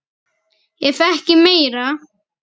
Ef ekki meira.